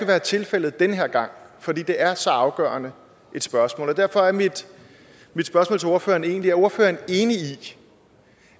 være tilfældet den her gang fordi det er så afgørende et spørgsmål derfor er mit spørgsmål til ordføreren egentlig er ordføreren enig i